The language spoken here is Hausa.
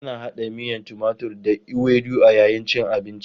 Ana hada miyan timatur da ewedu a yayin cin abinci.